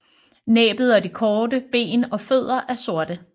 Næbbet og de korte ben og fødder er sorte